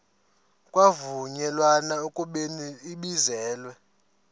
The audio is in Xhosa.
kwavunyelwana ekubeni ibizelwe